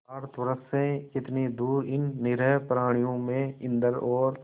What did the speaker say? भारतवर्ष से कितनी दूर इन निरीह प्राणियों में इंद्र और